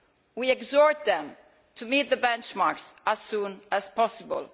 We exhort them to meet the benchmarks as soon as possible.